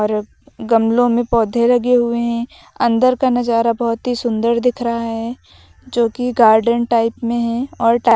जो गमलों में पौधे लगे हुए हैं अंदर का नजारा बहुत ही सुंदर दिख रहा है जो कि गार्डन टाइप में है और--